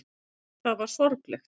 Hvort það var sorglegt.